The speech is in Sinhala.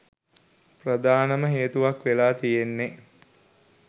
ප්‍රධානම හේතුවක් වෙලා තියෙන්නෙ